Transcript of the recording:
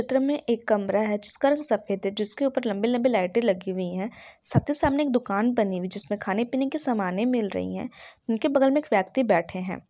--त्र में एक कमरा है जिस का रंग सफेद हैं जिस के उपर लम्बी - लम्बी लाइटे लगी हुई हैं साथी सामने एक दुकान बनी हुई जिस पर खाने पिने के सामने मिल रही हैं उनके बगल में एक व्यक्ति बैठे हैं।